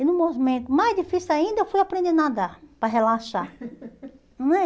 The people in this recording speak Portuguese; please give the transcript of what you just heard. E no momento mais difícil ainda, eu fui aprender a nadar, para relaxar. não é